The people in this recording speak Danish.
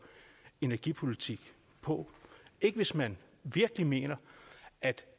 energipolitik på hvis man virkelig mener at